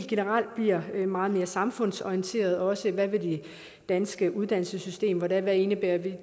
generelt bliver meget mere samfundsorienteret herunder også hvad med det danske uddannelsessystem hvad hvad indebærer det